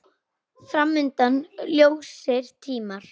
Fram undan ljósir tímar.